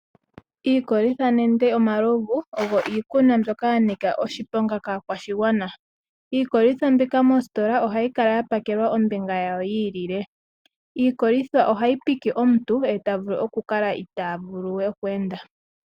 Iikolitha nenge omalovu ogo iikunwa mbyoka yanika oshiponga kaakwashigwana . Iikolithwa mbika mositola ohayi kala yapakelwa ombinga yawo yiilile. Iikolitha ohayi pike omuntu eta vulu okukala we itaa vuluwe okweenda.